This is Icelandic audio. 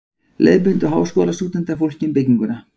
Leiðbeindu Háskólastúdentar fólki um bygginguna.